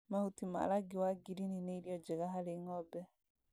Mahuti ma rangi wa ngirini nĩ irio njega harĩ ng'ombe